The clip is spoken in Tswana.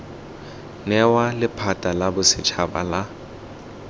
newa lephata la bosetshaba la